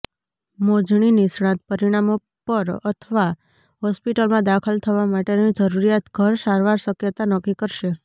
મોજણી નિષ્ણાત પરિણામો પર અથવા હોસ્પિટલમાં દાખલ થવા માટેની જરૂરિયાત ઘર સારવાર શક્યતા નક્કી કરશે